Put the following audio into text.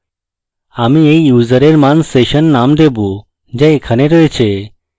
আমি এই user এর মান session name দেবো যা এখানে রয়েছে